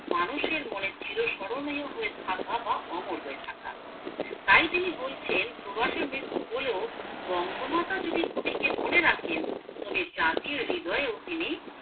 মানুষের মনে চির স্মরণীয় হয়ে থাকা বা অমর হয়ে থাকা তাই তিনি বলছেন প্রবাসে মৃত্যু হলেও বঙ্গমাতা যদি কবিকে মনে রাখেন তবে জাতির হৃদয়ে তিনি